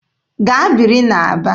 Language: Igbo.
Gaa biri n'Aba!